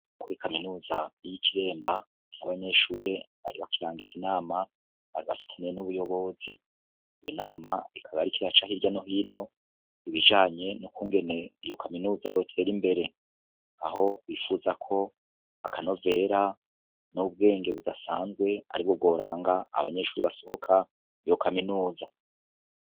Kuri kaminuza y'i Kiremba, niho abanyeshure bari bakirangiza inama bari bafitaniye n'ubuyobozi. Iyo nama ikaba yariko iraca hirya no hino ibijanye n'ukungene iyo kaminuza yoter'imbere, aho bifuza ko akanovera n'ubwenge budasanzwe ari bwo bworanga abanyeshuri basohoka iyo kaminuza.